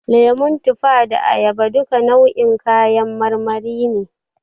Lemo, tufa da ayaba duka nau'in kayan marmari ne.